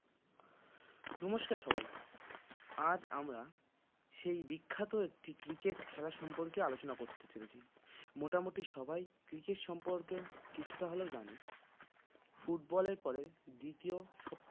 নমস্কার সবাইকে আজ আমরা সেই বিখ্যাত একটি cricket খেলা সম্পর্কে আলোচনা করতে চলেছি মোটামুটি সবাই cricket সম্পর্কে কিছুটা হলেও জানে football এর পরে দ্বিতীয় সব